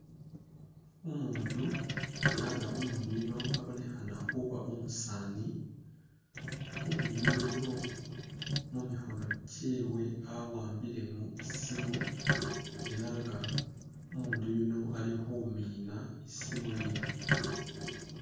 Umundu ela nga umundu uyuno abonekhana khuba nga umusani, umundu uyuno mu mikhono kyewe awambilemo isimu ela nga umundu uyuno ali khumiina isimu yino.